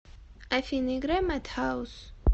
афина играй мэд хаус